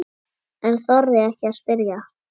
En þorði ekki að spyrja.